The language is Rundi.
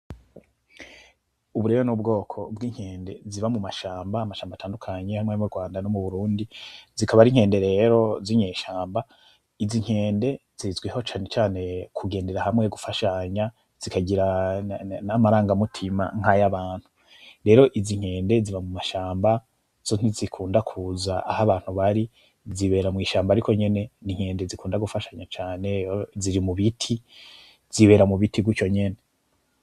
Ubu rero n'ubwoko bw'inkende ziba mu mashamba, amashamba atandukanye amw'amwe yo mu Rwanda no mu Burundi, zikaba ar'inkende rero zinyeshamba, izi nkende zizwiho cane cane kugendera hamwe; gufashanya; zikagira n'amaranga mutima nk'ayabantu, rero izi nkende ziba mu mashamba zo ntizikunda kuza ah'abantu bari, zibera mw'ishamba ariko nyene n'inkende zikunda gufashanya cane, ziri mu giti zibera mu biti gutyo nyene.